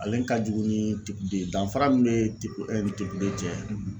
Ale ka jugu ni de ye danfara min bɛ ni cɛ.